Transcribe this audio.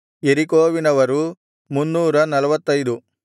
ಯೆರಿಕೋವಿನವರು 345